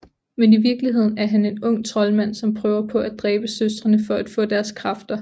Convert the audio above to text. Men i virkeligheden er han en ung troldmand som prøver på at dræbe søstrene for at få deres kræfter